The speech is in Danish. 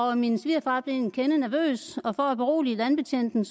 og min svigerfar blev en kende nervøs for at berolige landbetjenten